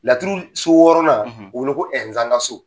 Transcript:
Laturu so wɔɔrɔnan o bi wele ko Ɛnzankaso.